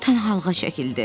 O tənhalığa çəkildi.